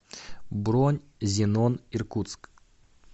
бронь зенон иркутск